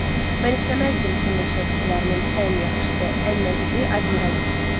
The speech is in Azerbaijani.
Mən istəməzdim ki, meşə ovçularının ən yaxşısı, ən nəcibi Admiral olsun.